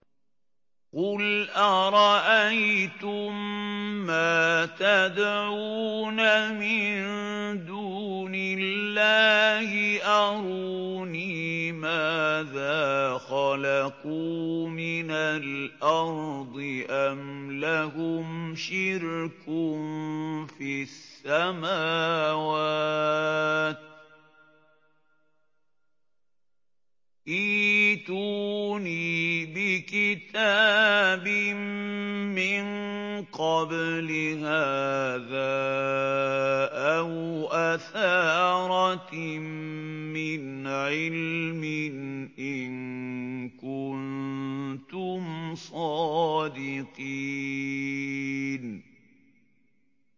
قُلْ أَرَأَيْتُم مَّا تَدْعُونَ مِن دُونِ اللَّهِ أَرُونِي مَاذَا خَلَقُوا مِنَ الْأَرْضِ أَمْ لَهُمْ شِرْكٌ فِي السَّمَاوَاتِ ۖ ائْتُونِي بِكِتَابٍ مِّن قَبْلِ هَٰذَا أَوْ أَثَارَةٍ مِّنْ عِلْمٍ إِن كُنتُمْ صَادِقِينَ